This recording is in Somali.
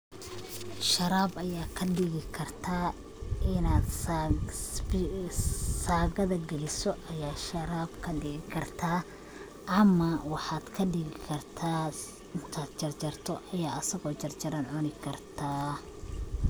Sharab Aya kadigi kartah, Ina sagatha kalisoh sharab kadigi kartah, amah waxa kadigi kartah inta jarjartoh asago jarjaran cuni kartah.